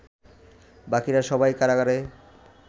বাকিরা সবাই কারাগারে